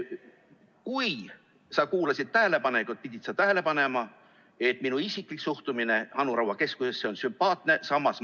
Kui sa kuulasid tähelepanelikult, pidid sa tähele panema, et minu isiklik suhtumine Anu Raua keskusesse on selline, et see keskus on sümpaatne.